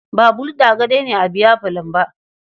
Ba Gulda kaɗai ne a biyafalon ba.